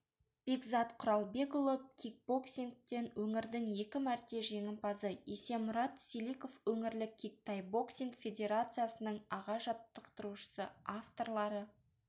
бекзат құралбекұлы кикбоксингтен өңірдің екі мәрте жеңімпазы есемұрат селиков өңірлік кик-тай боксинг федерациясының аға жаттықтырушысы авторлары